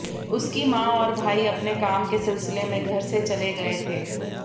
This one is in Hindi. उसकी मां और भाई अपने काम के सिलसिले में घर से चले गये थे